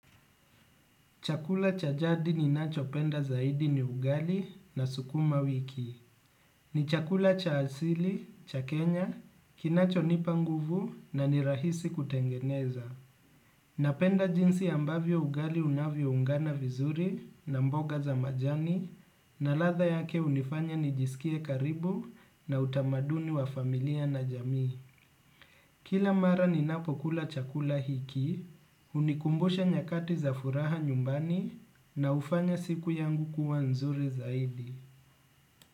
Chakula cha jadi ninachopenda zaidi ni ugali na sukuma wiki. Ni chakula cha asili, cha Kenya, kinachonipa nguvu na ni rahisi kutengeneza. Napenda jinsi ambavyo ugali unavyoungana vizuri na mboga za majani na ladha yake hunifanya nijisikie karibu na utamaduni wa familia na jamii. Kila mara ninapokula chakula hiki, hunikumbusha nyakati za furaha nyumbani na hufanya siku yangu kuwa nzuri zaidi.